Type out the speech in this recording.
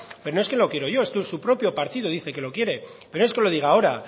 pero no es que lo quiero yo es que su propio partido dice que lo quiere pero no es que lo diga ahora